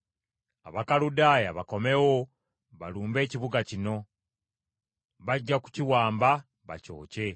Abakaludaaya bakomewo balumbe ekibuga kino; bajja kukiwamba bakyokye.’